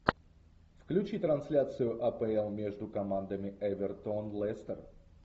включи трансляцию апл между командами эвертон лестер